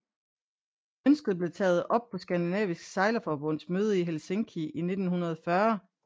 Ønsket blev taget op på Skandinavisk Sejlerforbunds møde i Helsinki i 1940